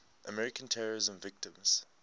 american terrorism victims